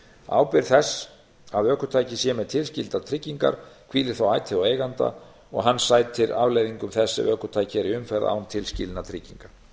ábyrgð þess að ökutæki sé með tilskildar tryggingar hvílir þó ætíð á eiganda og hann sætir afleiðingum þess ef ökutæki er í umferð án tilskilinna trygginga